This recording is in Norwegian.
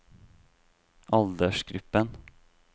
aldersgruppen